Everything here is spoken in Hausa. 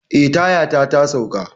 Eh, tayata ta sauka.